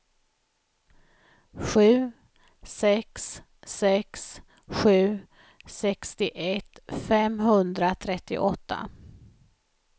sju sex sex sju sextioett femhundratrettioåtta